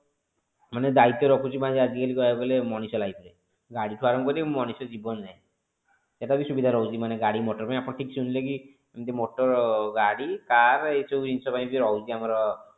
ମାନେ bike ଟେ ରଖୁଛି ମାନେଆଜି କାଲି କହିବାକୁ ଗଲେ ମଣିଷ life ରେ ଗାଡି ଠୁ ଆରମ୍ଭ କରି ମଣିଷ ଜୀବନ ଯାଏଁ ଏଟା ବି ସୁବିଧା ରହୁଛି ମାନେ ଗାଡି ମଟର ପାଇଁ ଆପଣ ଶୁଣିଲେ କି ଏମିତି motor ଗାଡି car ଏ ସବୁ ଜିନିଷ ପାଇଁ ବି ରହୁଛି ଆମର